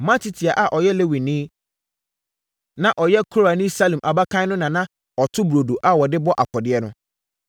Matitia a ɔyɛ Lewini, na ɔyɛ Korani Salum abakan no na na ɔto burodo a wɔde bɔ afɔdeɛ no.